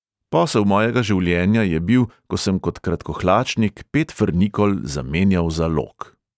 Posel mojega življenja je bil, ko sem kot kratkohlačnik pet frnikol zamenjal za lok.